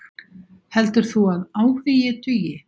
Heldur þú að áhugi dugi?